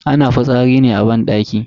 Ana fitsari ne a banɗaki.